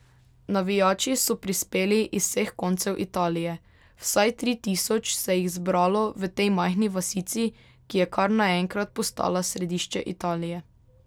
Navijači so prispeli iz vseh koncev Italije, vsaj tri tisoč se jih zbralo v tej majhni vasici, ki je kar naenkrat postala središče Italije.